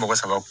Mɔgɔ saba